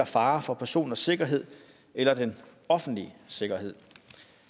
fare for personers sikkerhed eller den offentlige sikkerhed